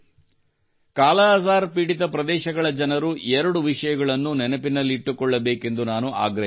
ಕಾಲಾಅಜಾರ್ ಪೀಡಿತ ಪ್ರದೇಶಗಳ ಜನರು ಎರಡು ವಿಷಯಗಳನ್ನು ನೆನಪಿನಲ್ಲಿಟ್ಟುಕೊಳ್ಳಬೇಕೆಂದು ನಾನು ಆಗ್ರಹಿಸುತ್ತೇನೆ